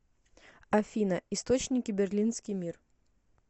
афина источники берлинский мир